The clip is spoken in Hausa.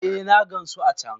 Eh na gansu a can!